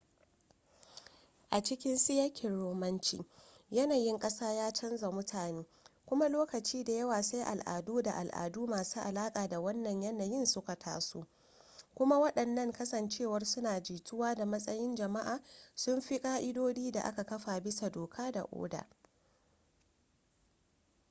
a cikin siyakin romanci yanayin kasa ya canza mutane kuma lokaci da yawa sai al'adu da al'adu masu alaƙa da wannan yanayin suka taso kuma waɗannan kasancewar suna jituwa da matsayin jama'a sun fi ƙa'idodi da aka kafa bisa doka da oda